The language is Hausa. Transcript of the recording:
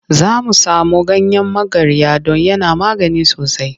Za mu samo ganyen magarya don yana magani sosai.